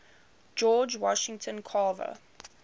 george washington carver